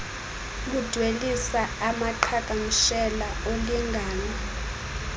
ludwelisa amaqhagamshela olingano